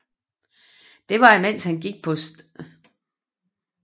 Det var imens han gik på St